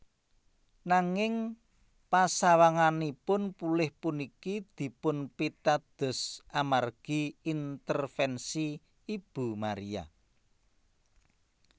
Nanging pasawanganipun pulih puniki dipunpitados amargi intervensi Ibu Maria